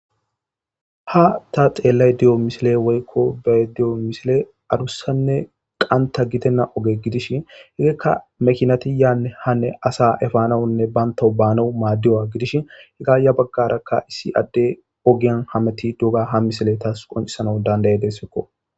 Ha ta xeellay diyo misile woykko ba diyo misile arussanne qanta gidenna oge gidishi higekka mekinatiyaae hanne asa efaanawunne bantahu baanau maaddiwa gidishi higaaya baggarakka issi adde ogiyan hameti duuga ha misile taas qoncisana dandaye dessekko.